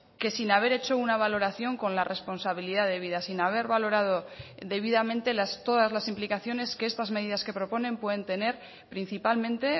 que sin haber hecho una valoración con la responsabilidad debida sin haber valorado debidamente todas las implicaciones que estas medidas que proponen pueden tener principalmente